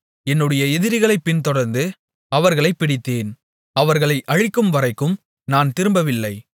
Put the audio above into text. என்னுடைய எதிரிகளைப் பின்தொடர்ந்து அவர்களைப் பிடித்தேன் அவர்களை அழிக்கும் வரைக்கும் நான் திரும்பவில்லை